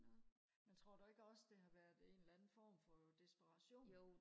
men tror du ikke også det har været en eller anden form for desperation